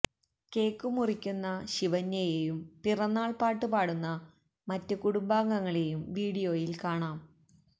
cake മുറിക്കുന്ന ശിവന്യയേയും പിറന്നാള് പാട്ട് പാടുന്ന മറ്റ് കുടുംബാങ്ങളേയും വീഡിയോയില് കാണാം